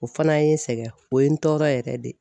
O fana ye n sɛgɛn o ye n tɔɔrɔ yɛrɛ de.